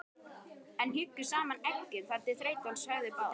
en hjuggu saman eggjum þar til þreytan svæfði báða.